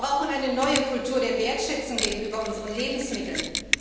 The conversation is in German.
Müll! Wir brauchen eine neue Kultur der Wertschätzung gegenüber unseren Lebensmitteln.